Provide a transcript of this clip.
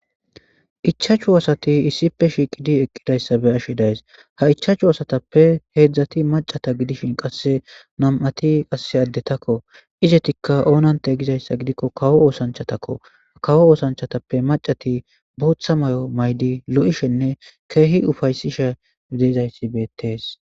Ichachu asati issipe shiiqidi eqqidayssa be ashshi days ha ichachu asatappe heedzdzati macata gidishin qasse nam7ati qasse addetakko izetikka oonante gizayssa gidikko kawo oosanchatakko kawo oosanchatappe macati bootha may7o maydi lo7ishenne keehi ufaysisha dezayssi beetees.